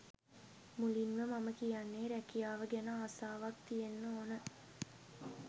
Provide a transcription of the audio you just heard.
මුලින්ම මම කියන්නේ රැකියාව ගැන ආසාවක් තියෙන්න ඕන.